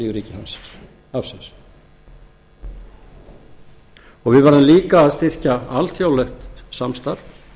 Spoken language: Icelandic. lífríki hafsins við verðum líka að styrkja þarf alþjóðlegt samstarf